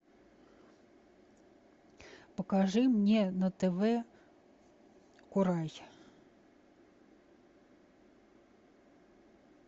покажи мне на тв курай